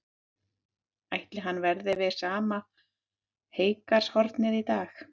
Ætli hann verði við sama heygarðshornið í dag?